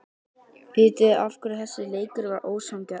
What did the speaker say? Vitiði af hverju þessi leikur var ósanngjarn?